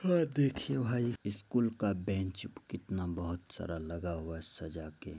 हाॅं देखिए भाई स्कूल का बेंच कितना बोहोत सारा लगा हुआ है सजा के|